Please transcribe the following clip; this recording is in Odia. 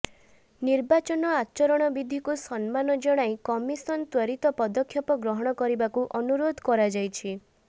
ନିର୍ବାଚନ ଆଚରଣ ବିଧିକୁ ସମ୍ମାନ ଜଣାଇ କମିଶନ ତ୍ବରିତ ପଦକ୍ଷେପ ଗ୍ରହଣ କରିବାକୁ ଅନୁରୋଧ କରାଯାଇଛି